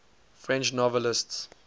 french novelists